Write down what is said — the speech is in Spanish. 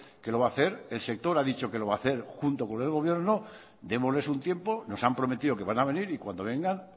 que lo va a hacer el sector ha dicho que lo va a hacer junto con el gobierno démosles un tiempo nos han prometido que van a venir y cuando vengan